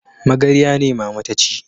Magarya ne mama ta ci